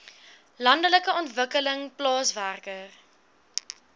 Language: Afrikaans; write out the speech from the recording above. landelike ontwikkeling plaaswerker